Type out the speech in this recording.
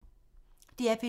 DR P2